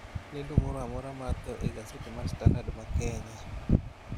lendo moro amora mar tho egaset mar standard ma kenya